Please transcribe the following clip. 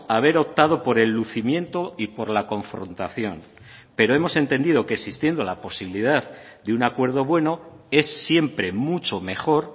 haber optado por el lucimiento y por la confrontación pero hemos entendido que existiendo la posibilidad de un acuerdo bueno es siempre mucho mejor